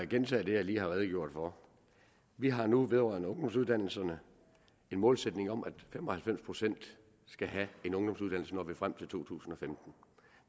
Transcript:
gentage det jeg lige har redegjort for vi har nu vedrørende ungdomsuddannelserne en målsætning om at fem og halvfems procent skal have en ungdomsuddannelse når vi når frem til to tusind og femten